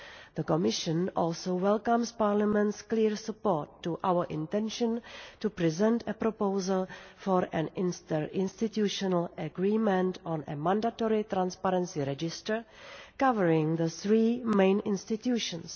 The Commission also welcomes Parliament's clear support for our intention to present a proposal for an inter-institutional agreement on a mandatory transparency register covering the three main institutions.